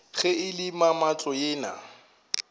ge e le mamahlo yena